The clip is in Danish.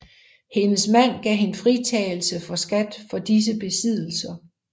Hendes mand gav hende fritagelse for skat for disse besiddelser